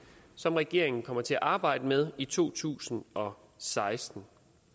som regeringen kommer til at arbejde med i to tusind og seksten